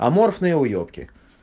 аморфные уебки